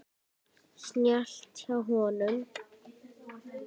Snjallt hjá honum.